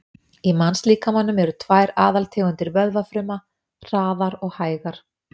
Í mannslíkamanum eru tvær aðaltegundir vöðvafruma, hraðar og hægar.